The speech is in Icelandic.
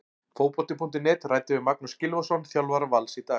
Fótbolti.net ræddi við Magnús Gylfason, þjálfara Vals, í dag.